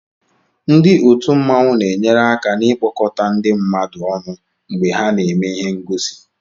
Ndị otù mmanwu na-enyere aka n'ikpọkọta ndị mmadu ọnụ mgbe ha na-eme ihe ngosi